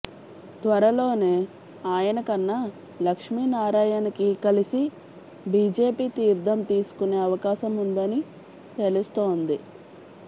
త్వరలోనే ఆయన కన్నా లక్ష్మినారాయణకి కలిసి బీజేపీ తీర్ధం తీసుకునే అవకాశం ఉందని తెలుస్తుంది